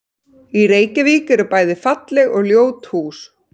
Í Reykjavík eru bæði falleg og ljót hús.